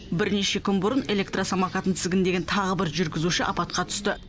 бірнеше күн бұрын электросамокатын тізгіндеген тағы бір жүргізуші апатқа түсті